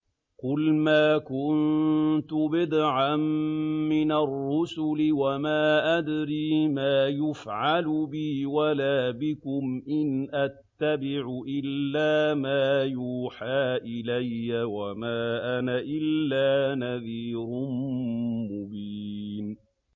قُلْ مَا كُنتُ بِدْعًا مِّنَ الرُّسُلِ وَمَا أَدْرِي مَا يُفْعَلُ بِي وَلَا بِكُمْ ۖ إِنْ أَتَّبِعُ إِلَّا مَا يُوحَىٰ إِلَيَّ وَمَا أَنَا إِلَّا نَذِيرٌ مُّبِينٌ